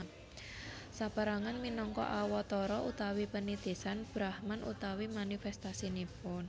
Saperangan minangka Awatara utawi penitisan Brahman utawi manifestasinipun